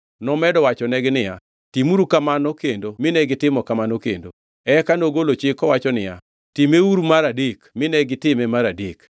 Nomedo wachonegi niya, “Timuru kamano kendo mine gitimo kamano kendo.” Eka nogolo chik kowacho niya, “Timeuru mar adek” mine gitime mar adek.